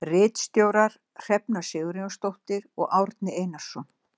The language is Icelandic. Ritstjórar Hrefna Sigurjónsdóttir og Árni Einarsson.